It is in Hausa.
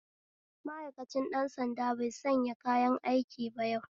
Ma'aikancin ɗan sanda baisa kayanaiki ba yau